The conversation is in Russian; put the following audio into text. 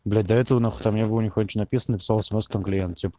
блять до этого нахуй там не было нихуя чего написано написал смс там клиент тип